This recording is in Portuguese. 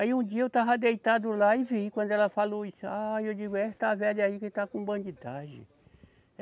Aí um dia eu estava deitado lá e vi, quando ela falou isso, ah e eu digo, é essa velha aí que está com bandidagem.